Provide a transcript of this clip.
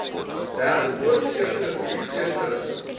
derdepoort eersterivier eersterus